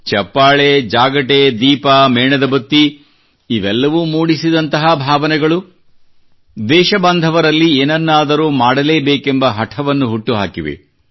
ಚಪ್ಪಾಳೆ ಜಾಗಟೆ ದೀಪ ಮೇಣದ ಬತ್ತಿ ಇವೆಲ್ಲವೂ ಮೂಡಿಸಿದಂತಹ ಭಾವನೆಗಳು ದೇಶಬಾಂಧವರಲ್ಲಿ ಏನನ್ನಾದರೂ ಮಾಡಲೇಬೇಕೆಂಬ ಹಠವನ್ನು ಹುಟ್ಟುಹಾಕಿವೆ